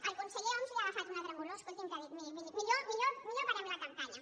al conseller homs li ha agafat una tremolor que ha dit miri millor que parem la campanya